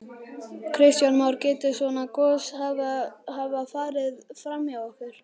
Kristján Már: Getur svona gos hafa farið fram hjá okkur?